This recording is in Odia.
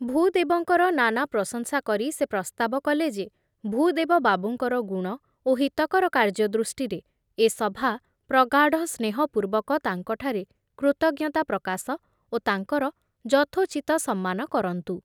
ଭୂଦେବଙ୍କର ନାନା ପ୍ରଶଂସା କରି ସେ ପ୍ରସ୍ତାବ କଲେ ଯେ ଭୂଦେବ ବାବୁଙ୍କର ଗୁଣ ଓ ହିତକର କାର୍ଯ୍ୟ ଦୃଷ୍ଟିରେ ଏ ସଭା ପ୍ରଗାଢ଼ ସ୍ନେହପୂର୍ବକ ତାଙ୍କଠାରେ କୃତଜ୍ଞତା ପ୍ରକାଶ ଓ ତାଙ୍କର ଯଥୋଚିତ ସମ୍ମାନ କରନ୍ତୁ।